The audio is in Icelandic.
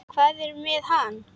Hvað er með hann?